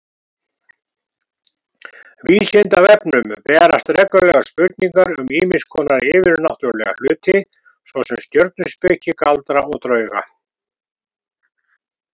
Vísindavefnum berast reglulega spurningar um ýmiss konar yfirnáttúrlega hluti, svo sem stjörnuspeki, galdra og drauga.